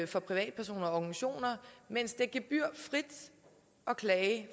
for privatpersoner og organisationer mens det er gebyrfrit at klage